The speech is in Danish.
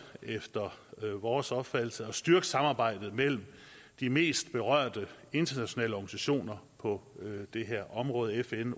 efter vores opfattelse er styrke samarbejdet mellem de mest berørte internationale organisationer på det her område fn